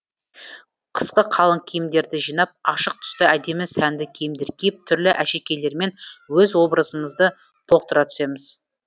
қысқы қалың кіимдерді жинап ашық түсті әдемі сәнді киімдер киіп түрлі әшекейлермен өз образымызды толықтыра түсеміз